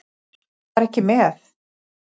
Ég var ekki með.